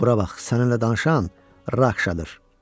Bura bax, səninlə danışan Rakşadır.